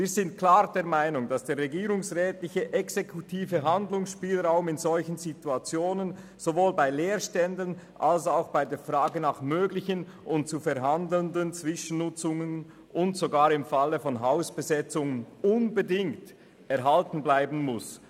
Wir sind klar der Meinung, dass der regierungsrätliche exekutive Handlungsspielraum in solchen Situationen sowohl bei der Zwischennutzung von leer stehenden kantonalen Gebäuden als auch bei der Frage nach möglichen und zu verhandelnden Zwischennutzungen sowie sogar im Fall von Hausbesetzungen unbedingt erhalten bleiben muss.